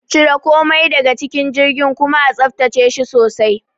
Cire komai daga cikin jirgin kuma a tsaftace shi sosai.